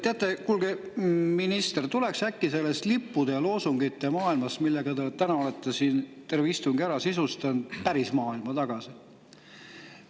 Teate, kuulge, minister, tuleks äkki sellest lippude ja loosungite maailmast, millega te täna olete siin terve istungi ära sisustanud, päris maailma tagasi.